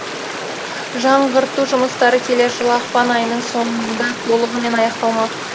жаңғырту жұмыстары келер жылы ақпан айының соңында толығымен аяқталмақ